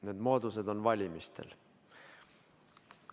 Need moodused avanevad valimistel.